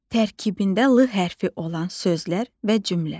Tərkibində l hərfi olan sözlər və cümlə.